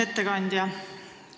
Ettekandja!